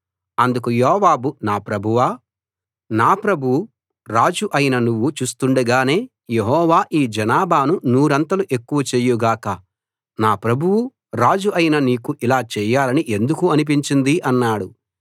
అందుకు యోవాబు నా ప్రభువు రాజు అయిన నువ్వు చూస్తుండగానే యెహోవా ఈ జనాభాను నూరంతలు ఎక్కువ చేయు గాక నా ప్రభువు రాజు అయిన నీకు ఇలా చేయాలని ఎందుకు అనిపించింది అన్నాడు